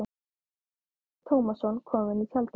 Ólafur Tómasson kom inn í tjaldið.